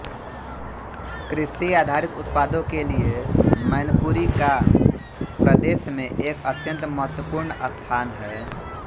कृषि आधारित उत्पादों के लिये मैनपुरी का प्रदेश में एक अत्यन्त महत्वपूर्ण स्थान है